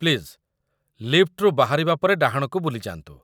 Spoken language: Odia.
ପ୍ଲିଜ୍, ଲିଫ୍ଟ ରୁ ବାହାରିବା ପରେ ଡାହାଣକୁ ବୁଲିଯାଆନ୍ତୁ ।